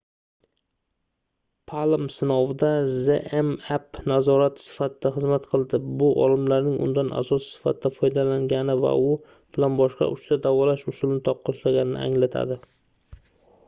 palm sinovida zmapp nazorat sifatida xizmat qildi bu olimlarning undan asos sifatida foydalangani va u bilan boshqa uchta davolash usulini taqqoslaganini anglatadi